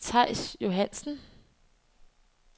Theis Johannsen